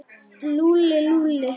Lúlli, Lúlli.